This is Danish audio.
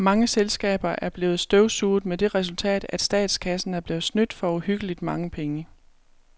Mange selskaber er blevet støvsuget med det resultat, at statskassen er blevet snydt for uhyggeligt mange penge.